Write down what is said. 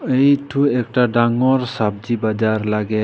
इ ठु एक टा डांगोर सब्जी बजार लागे।